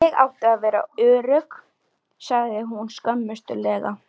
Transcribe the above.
Ég átti að vera örugg, sagði hún skömmustulega.